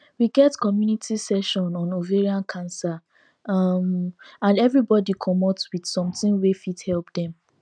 we get community session on ovarian cancer um and everybody commot with something wey fit help dem